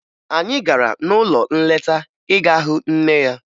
Anyị gara n'ụlọ nleta ịga hụ nne ya